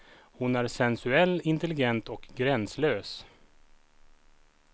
Hon är sensuell, intelligent och gränslös.